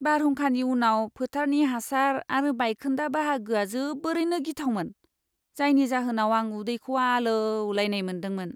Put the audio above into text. बारहुंखानि उनाव फोथारनि हासार आरो बायखोन्दा बाहागोआ जोबोरैनो गिथावमोन, जायनि जाहोनाव आं उदैखौ आलौलायनाय मोन्दोंमोन!